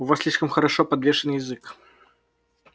у вас слишком хорошо подвешен язык